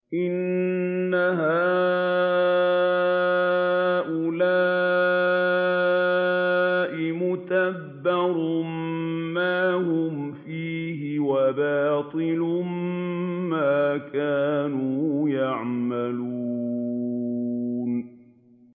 إِنَّ هَٰؤُلَاءِ مُتَبَّرٌ مَّا هُمْ فِيهِ وَبَاطِلٌ مَّا كَانُوا يَعْمَلُونَ